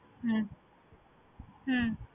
হম হম